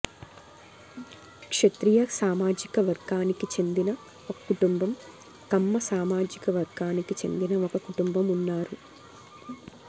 క్షత్రియ సామాజిక వర్గానికి చెందిన ఒక కుటుంబం కమ్మ సామాజిక వర్గానికి చెందిన ఒక కుటుంబం ఉన్నారు